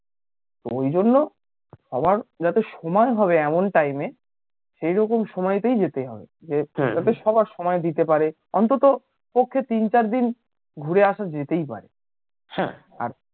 ওই জন্য সবার যাতে সময় হবে এমন time এ সেই রকম সময়তেই যেতে হবে যে যাতে সবার সময় দিতে পারে অন্তত পক্ষে তিন চার দিন ঘুরে আসা যেতেই পারে হ্যাঁ আর